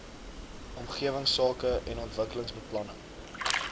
omgewingsake en ontwikkelingsbeplanning